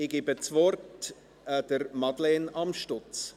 Ich gebe das Wort Madeleine Amstutz.